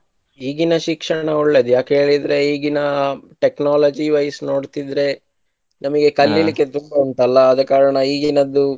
ಈಗಿನ ಶಿಕ್ಷಣ ಒಳ್ಳೇದ್ ಯಾಕೆ ಹೇಳಿದ್ರೆ ಈಗಿನ technology wise ನೋಡ್ತಿದ್ರೆ ನಮಗೆ ಕಲಿಲಿಕ್ಕೆ ತುಂಬಾ ಉಂಟಲ್ಲ ಆದಕಾರಣ ಈಗಿನದ್ದು